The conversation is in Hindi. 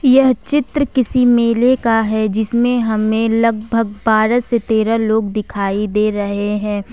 यह चित्र किसी मेले का है जिसमें हमें लगभग बारह से तेरह लोग दिखाई दे रहे हैं।